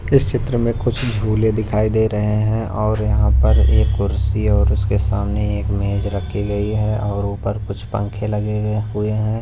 इस चित्र में कुछ झूले दिखाई दे रहे हैं और यहां पर एक कुर्सी और उसके सामने एक मेज रखी गई है और ऊपर कुछ पंख लगें गए हुए हैं।